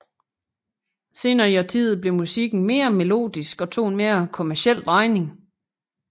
Senere i årtiet blev musikken mere melodisk og tog en mere kommerciel drejning